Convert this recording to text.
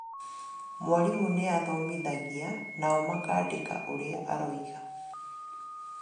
Mwarimu nĩathomithagia nao makaandĩka ũrĩa aroiga